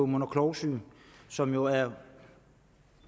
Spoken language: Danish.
mund og klovsyge som jo er en